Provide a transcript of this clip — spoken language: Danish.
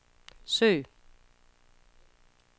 søg